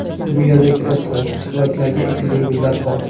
Bu yerda kreslo, tuvaklarga ekilgan gullar bor.